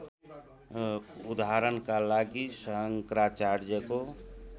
उदाहरणका लागि शङ्कराचार्यको